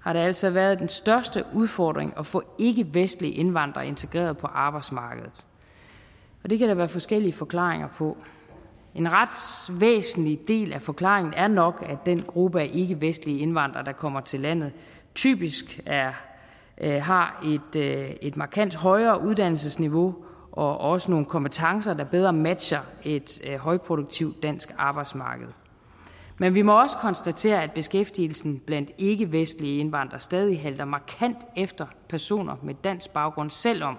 har det altså været den største udfordring at få ikkevestlige indvandrere integreret på arbejdsmarkedet og det kan der være forskellige forklaringer på en ret væsentlig del af forklaringen er nok at den gruppe af ikkevestlige indvandrere der kommer til landet typisk har et markant højere uddannelsesniveau og også nogle kompetencer der bedre matcher et højproduktivt dansk arbejdsmarked men vi må også konstatere at beskæftigelsen blandt ikkevestlige indvandrere stadig halter markant efter personer med dansk baggrund selv om